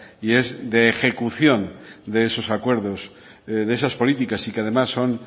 y es de ejecución de esos acuerdos de esas políticas y que además son